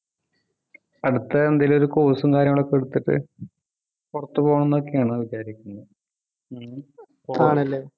അടുത്ത എന്തെങ്കിലും ഒരു course ഉം കാര്യങ്ങളും ഒക്കെ എടുത്തിട്ട് പുറത്തു പോണം ന്നൊക്കെയാണ് വിചാരിക്കുന്നത്